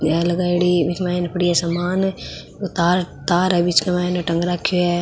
बीक मायने पड़ी है सामान तार तार है बीच के मायन टंग राख्यो है।